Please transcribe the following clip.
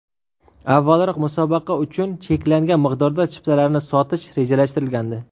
Avvalroq musobaqa uchun cheklangan miqdorda chiptalarni sotish rejalashtirilgandi.